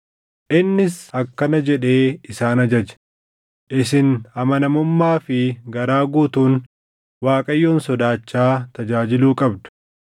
Innis akkana jedhee isaan ajaje; “Isin amanamummaa fi garaa guutuun Waaqayyoon sodaachaa tajaajiluu qabdu.